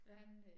Ja